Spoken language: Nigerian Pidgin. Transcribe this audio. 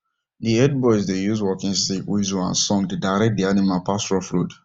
the herd boys dey use walking sticks whistles and song dey direct the animal pass rough road